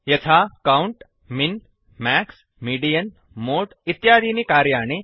यथा count min max median mode इत्यादीनि कार्याणि